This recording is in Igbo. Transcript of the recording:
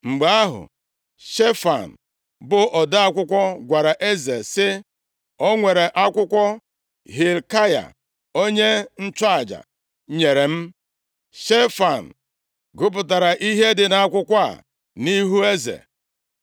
Mgbe ahụ, Shefan bụ ode akwụkwọ, gwara eze sị, “O nwere akwụkwọ Hilkaya, onye nchụaja nyere m.” Shefan gụpụtara ihe dị nʼakwụkwọ a nʼihu eze.